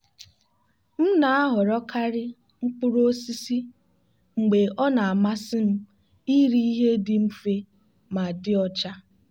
m na-ahọrọkarị mkpụrụ osisi mgbe ọ na-amasị m iri ihe dị mfe ma dị ọcha.